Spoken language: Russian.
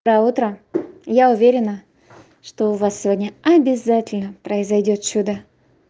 доброе утро я уверена что у вас сегодня обязательно произойдёт чудо